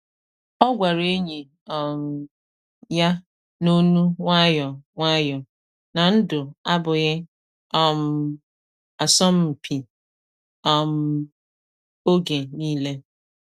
Ọ gwara enyi um ya n’onu nwayọ nwayọ na ndụ abụghị um asọm mpi um oge niile.